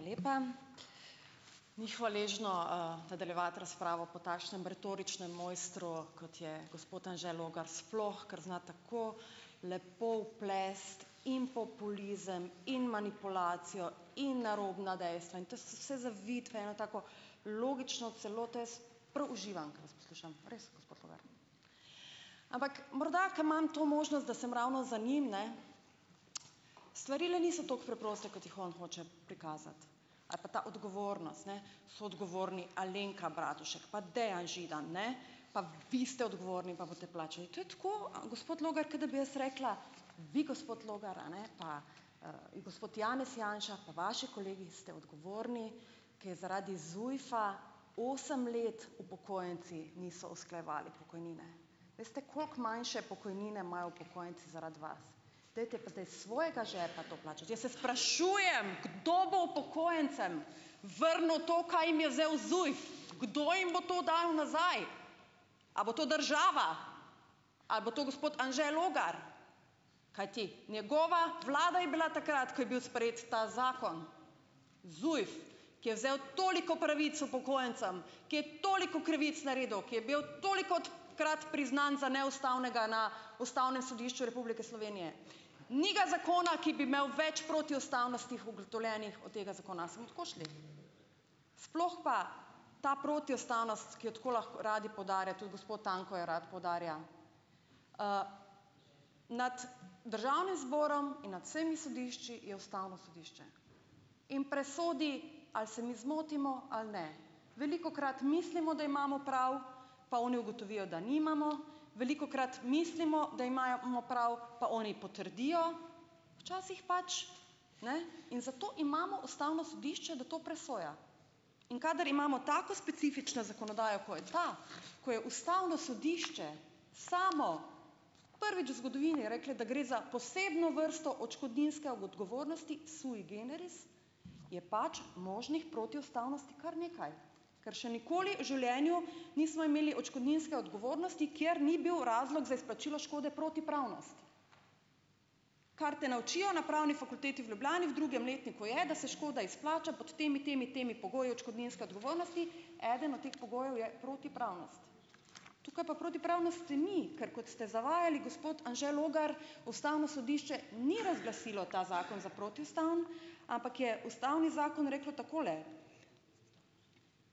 Hvala lepa. Ni hvaležno nadaljevati razpravo po takšnem retoričnem mojstru kot je gospod Anže Logar, sploh ker zna tako lepo vplesti in populizem in manipulacijo in narobna dejstva, in to so vse zaviti v eno tako logično celoto, jaz prav uživam, ko vas poslušam, res, gospod Logar, ampak morda ker imam to možnost, da sem ravno za njim, ne, stvari le niso tako preproste, kot jih on hoče prikazati, ali pa ta odgovornost, ne, so odgovorni Alenka Bratušek pa Dejan Židan, ne, pa vi ste odgovorni pa boste plačali, to je tako, gospod Logar, kot da bi jaz rekla: "Vi, gospod Logar, a ne, pa gospod Janez Janša pa vaši kolegi ste odgovorni, ker je zaradi ZUJF-a osem let upokojenci niso usklajevali pokojnine." Veste, koliko manjše pokojnine imajo upokojenci zaradi vas, dajte pa zdaj s svojega žepa to plačati, jaz se sprašujem, kdo bo upokojencem vrnil to, kaj jim je kdo jim bom to dal nazaj, a bo to država ali bo to gospod Anže Logar, kajti njegova vlada je bila takrat, ko je bil sprejet ta zakon, Zujf, ki vzel toliko pravic upokojencem, ki je toliko krivic naredil, ki je bil tolikokrat priznan za neustavnega na Ustavnem sodišču Republike Slovenije, ni ga zakon, ki bi imel več protiustavnosti ugotovljenih od tega zakon, se bomo tako šli, sploh pa ta protiustavnost, ki jo tako radi poudarjate, tudi gospod Tanko jo rad poudarja, nad državnim zborom in nad vsemi sodišči je ustavno sodišče in presodi, ali se mi zmotimo ali ne, velikokrat mislimo, da imamo prav, pa oni ugotovijo, da nimamo, velikokrat mislimo, da imajo bomo prav, pa oni potrdijo, včasih pač ne in zato imamo ustavno sodišče, da to presoja, in kadar imamo tako specifično zakonodajo, ko je ta, ko je ustavno sodišče samo prvič v zgodovini rekli, da gre za posebno vrsto odškodninske odgovornosti sui generis, je pač možnih protiustavnosti kar nekaj, ker še nikoli v življenju nismo imeli odškodninske odgovornosti, kjer ni bil razlog za izplačilo škode protipravnost, kar te naučijo na pravni fakulteti v Ljubljani v drugem letniku, je, da se škoda izplača pod temi, temi, temi pogoji odškodninske odgovornosti, eden od teh pogojev je protipravnost, tukaj pa protipravnosti ni, ker kot ste zavajali, gospod Anže Logar, ustavno sodišče ni razglasilo ta zakon za protiustaven, ampak je ustavni zakon reklo takole.